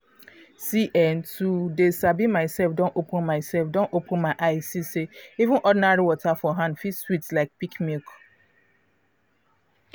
see eh to dey sabi myself don open myself don open my eye see say even ordinary water for hand fit sweet like peak milk